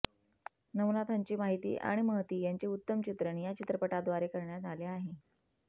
नवनाथांची माहिती आणि महती याचे उत्तम चित्रण या चित्रपटाद्वारे करण्यात आले आहे